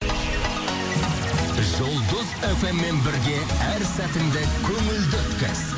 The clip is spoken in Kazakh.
жұлдыз эф эм мен бірге әр сәтіңді көңілді өткіз